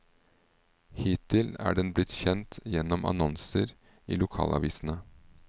Hittil er den blitt kjent gjennom annonser i lokalavisene.